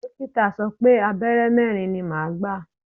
Dókítà sọ pé Abẹ́rẹ́ mẹ́rin ni màá gbà.